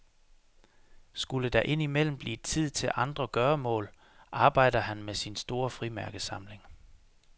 Skulle der ind imellem blive tid til andre gøremål, arbejder han med sin store frimærkesamling.